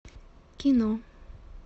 кино